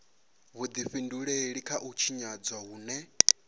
vhudifhinduleli kha u tshinyadzwa hune